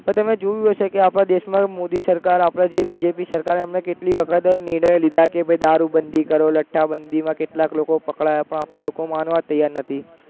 પણ તમે જોયું હશે કે આપણા દેશમાં ય મોદી સરકાર આપણા જે BJP સરકારે એમાં કેટલા અંધાધુન નિર્ણયો લીધા કે ભૈ દારૂબંધી કરો, લઠ્ઠાબંધીમાં કેટલાક લોકો પકડાયા તા પણ લોકો માનવ જ તૈયાર નથી